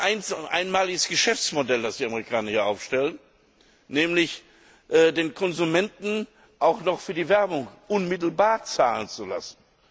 Ich glaube, es ist ein einmaliges Geschäftsmodell, das die Amerikaner hier aufstellen, nämlich den Konsumenten auch noch für die Werbung unmittelbar zahlen zu lassen.